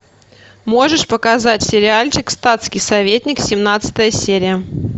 можешь показать сериальчик статский советник семнадцатая серия